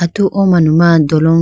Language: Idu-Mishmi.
tu o manu ma dolong.